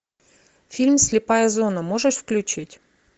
фильм слепая зона можешь включить